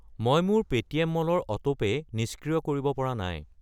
মই মোৰ Paytm mall ৰ অটোপে' নিষ্ক্ৰিয় কৰিব পৰা নাই।